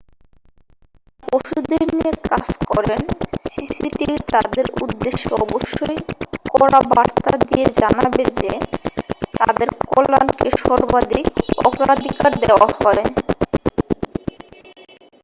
যাঁরা পশুদের নিয়ে কাজ করেন সিসিটিভি তাঁদের উদ্দেশ্যে অবশ্যই কড়া বার্তা দিয়ে জানাবে যে তাঁদের কল্যাণকে সর্বাধিক অগ্রাধিকার দেওয়া হয়